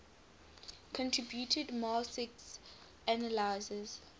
contributed marxist analyses